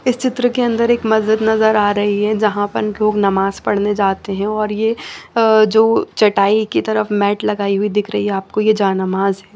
इस चित्र की अंदर एक माजिद नजर आ रही है झा पर लोग नमाज पड़ने जाते है और येह जो चटाई की तरफ मेट लगाई हुई दिख रही है ये जा नमाज है।